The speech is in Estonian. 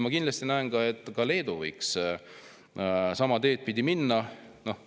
Ma kindlasti näen, et ka Leedu võiks sama teed pidi minna.